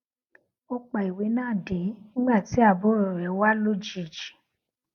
ó pa ìwé náà de nígbà tí àbúrò rè wá lójijì